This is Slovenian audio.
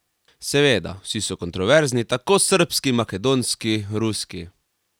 Seveda, vsi so kontroverzni, tako srbski, makedonski, ruski ...